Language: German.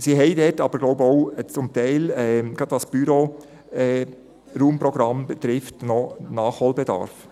Sie haben zum Teil aber auch, gerade was dieses Büro betrifft, in Raumprogrammen noch Nachholbedarf.